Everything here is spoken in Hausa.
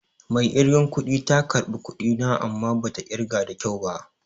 Mai ƙirgen kudi ta ƙarbi kuɗi na amma bata ƙirga da kyau ba